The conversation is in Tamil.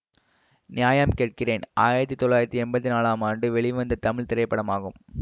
நியாயம் கேட்கிறேன் ஆயிரத்தி தொள்ளாயிரத்தி எம்பத்தி நாளாம் ஆண்டு வெளிவந்த தமிழ் திரைப்படமாகும்